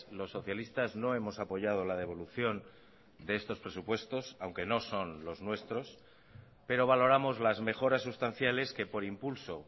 los socialistas no hemos apoyado la devolución de estos presupuestos aunque no son los nuestros pero valoramos las mejoras sustanciales que por impulso